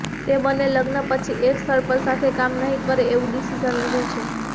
તે બંને લગ્ન પછી એક સ્થળ પર સાથે કામ નહીં કરે એવું ડિસિઝન લીધું છે